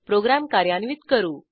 program कार्यान्वित करू